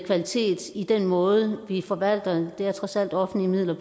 kvalitet i den måde vi forvalter det det er trods alt offentlige midler